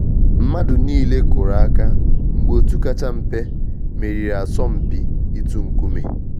Mmadụ niile kụrụ aka mgbe òtù kacha mpe meriri asọmpi itu nkume